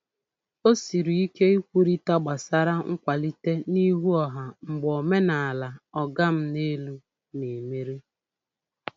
O siri ike ikwurịta gbasra nkwalite n'ihu ọha mgbe omenala "ọga m n'elu" na-emeri.